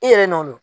I yɛrɛ nɔn o